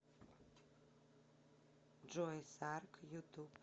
джой сарг ютуб